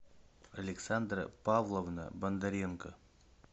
александра павловна бондаренко